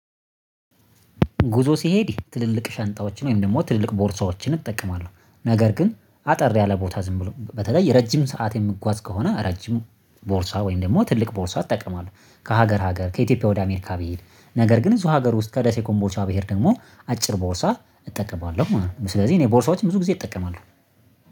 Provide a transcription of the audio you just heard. ጉዞ ሲሄድ ትልልቅ ሻንጣዎችን ወይም ደግሞ ትልልቅ ቦርሳዎችን እጠቀማለሁ ነገር ግን አጠር ያለ ቦታ ዝም ብሎ በተለይ ረጅም ሰዓት የምጓዝ ከሆነ ረጅም ቦርሳ ወይም ደግሞ ትልቅ ቦርሳ እጠቀማለሁ ከሀገር ሀገር ከኢትዮጵያ ወደ አሜሪካ ብሄድ ነገር ግን እዚሁ ሀገር ውስጥ ከደሴ ኮምቦቻ ብሄድ ደግሞ አጭር ቦርሳ እጠቀማለሁ ማለት ነው። ስለዚህ እኔ ቦርሳዎችን ብዙ ጊዜ እጠቀማለሁ።